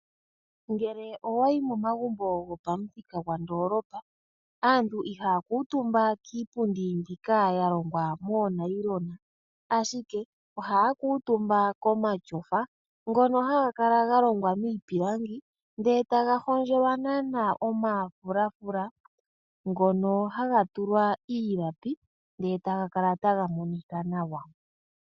Ngele owayi momagumbo go pamuthika gopandolopa, aantu ihaya kuutumba kiipundi mbika ya longwa moonayilona. Ashike ohaya kuutumba komashofa ngono haga kala ga longwa miipilangi ndele taga hondjelwa naana omafulafula, ngono haga tulwa iilapi ndele taga kala taga monika nawa.